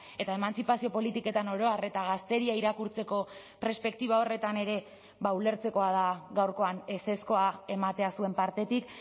eta emantzipazio politiketan oro har eta gazteria irakurtzeko perspektiba horretan ere ulertzekoa da gaurkoan ezezkoa ematea zuen partetik